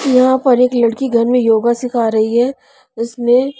यहां पर एक लड़की घर में योगा सिखा रही है इसमें--